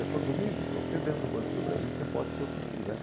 Ele falou, Domingos, você dentro do Banco do Brasil pode ser o que quiser.